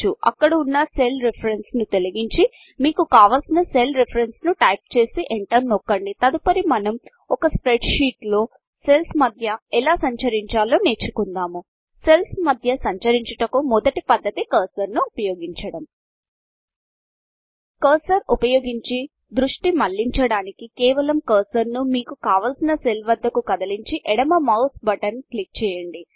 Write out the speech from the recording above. అక్కడ ఉన్న cell reference ను తొలగించి మీకు కావలసిన సెల్ రిఫరెన్స్ ను టైపు చేసి ఎంటర్ నొక్కండి తదుపరి మనం ఒక స్ప్రెడ్ షీట్ లో సెల్స్ మధ్య ఎలా సంచరించాలో నేర్చుకుందాము సెల్ల్స్ మధ్య సంచరించుటకు మొదటి పద్ధతి కర్సర్ ను ఉపయోగించడం కర్సర్ ఉపయోగించి ద్రుష్టి మలించడానికి కేవలం కర్సరును మీకు కావాల్సిన సెల్ వద్ద కు కదలించి ఎడమ మౌస్ బటన్ క్లిక్ చేయండి